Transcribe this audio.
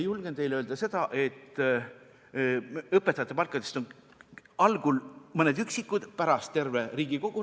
Julgen teile öelda, et õpetajate palgast on rääkinud algul mõned üksikud, pärast terve Riigikogu.